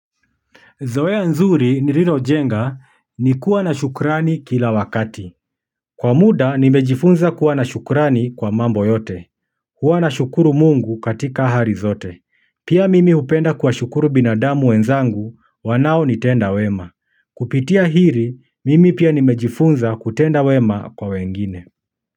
Zoea nzuri nililojenga, ni kuwa na shukrani, kila wakati. Kwa muda, nimejifunza kuwa na shukrani, kwa mambo yote. Huwa na shukuru Mungu, katika hali zote. Pia mimi hupenda kuwashukuru binadamu wenzangu, wanao nitenda wema. Kupitia hili, mimi pia nimejifunza, kutenda wema kwa wengine.